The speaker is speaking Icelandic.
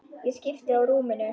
Ég skipti á rúminu.